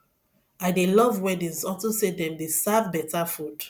i dey love weddings unto say dem dey serve beta food